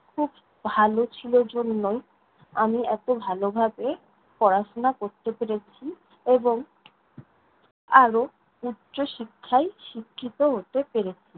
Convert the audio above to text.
ভালো ছিল জন্যই, আমি এত ভালভাবে পড়াশোনা করতে পেরেছি এবং আরও উচ্চশিক্ষায় শিক্ষিত হতে পেরেছি.